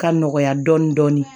Ka nɔgɔya dɔɔnin dɔɔnin